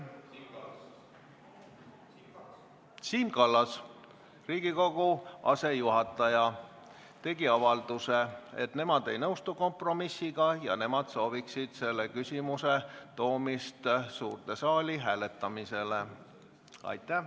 Siim Kallas, Riigikogu asejuhataja, tegi avalduse, et nemad ei nõustu kompromissiga ja nemad sooviksid selle küsimuse toomist suurde saali hääletamisele.